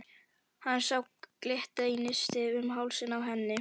Hann sá glitta í nistið um hálsinn á henni.